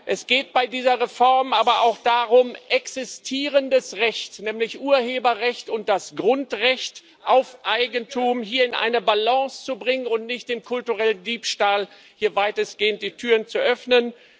Es geht bei dieser Reform aber auch darum, existierendes Recht nämlich Urheberrecht und das Grundrecht auf Eigentum hier in eine Balance zu bringen und nicht dem kulturellen Diebstahl weitestgehend die Türen zu öffnen.